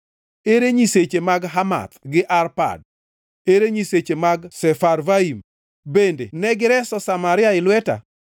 Ere nyiseche mag Hamath gi Arpad? Ere nyiseche mag Sefarvaim? Bende ne gireso Samaria e lweta?